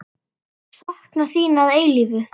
Sakna þín að eilífu.